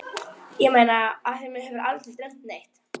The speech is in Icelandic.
Eins og talað úr hans hjarta.